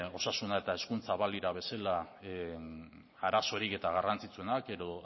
osasuna eta hezkuntza balira bezala arazorik eta garrantzitsuenak edo